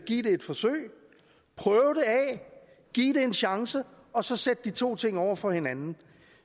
give det et forsøg prøve det af give det en chance og så sætte de to ting over for hinanden